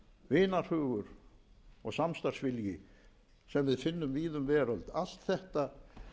vinarhugur og samstarfsvilji sem við finnum víða um veröld allt þetta